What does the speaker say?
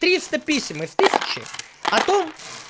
триста писем из тысячи о том